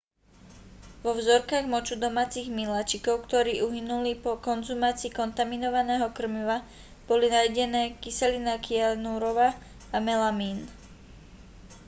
vo vzorkách moču domácich miláčikov ktorí uhynuli po konzumácii kontaminovaného krmiva boli nájdenné kyselina kyanurová a melamín